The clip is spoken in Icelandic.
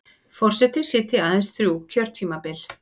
Forseti sitji aðeins þrjú kjörtímabil